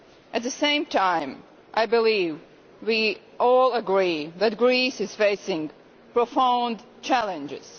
At the same time, I believe we all agree that Greece is facing profound challenges.